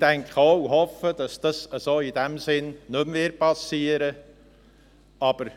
Ich denke und hoffe auch, dass das so in diesem Sinne nicht mehr geschehen wird.